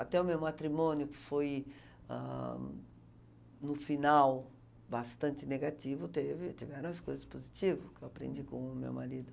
Até o meu matrimônio, que foi, ah no final, bastante negativo, teve teve várias coisas positivo, que eu aprendi com o meu marido.